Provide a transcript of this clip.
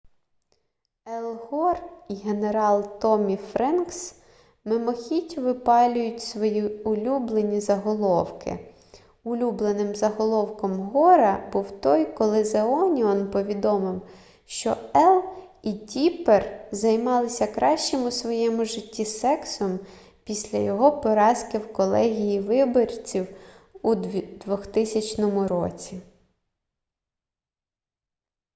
ел гор і генерал томмі френкс мимохідь випалюють свої улюблені заголовки улюбленим заголовком гора був той коли зе оніон повідомив що ел і тіппер займалися кращим у своєму житті сексом після його поразки в колегії виборців у 2000 році